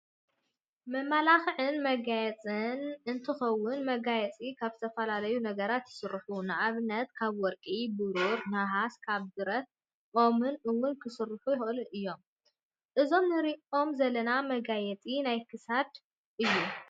መመላክዕን መጋየፅን እንትከውን መጋየፂ ካብ ዝተፈላለዩ ነገራት ይስርሑ ንኣብነት ካብ ወርቂ፣ ብሩር፣ ነሓስ፣ ካብ ብረትን፣ ኦምን እውን ክስርሑ ይክእሉ እዮም። እዞም እንሪኦም ዘለና መጋየፂ ናይ ክሳድ እዩ።